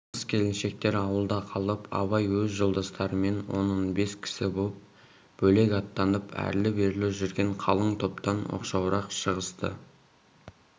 қыз-келіншектер ауылда қалып абай өз жолдастарымен он-он бес кісі боп бөлек аттанып әрлі-берлі жүрген қалың топтан оқшауырақ шығысты